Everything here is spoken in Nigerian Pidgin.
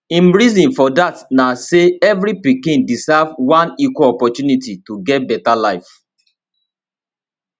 im reason for dat na say every pikin deserve one equal opportunity to get beta life